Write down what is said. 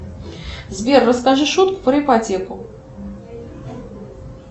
сбер расскажи шутку про ипотеку